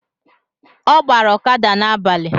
Ọ ọgbara ọkada n’agbalị